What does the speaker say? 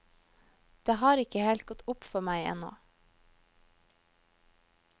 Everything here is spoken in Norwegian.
Det har ikke helt gått opp for med ennå.